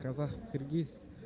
казах киргиз